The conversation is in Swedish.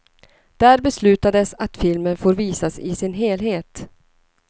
Där beslutades att filmen får visas i sin helhet.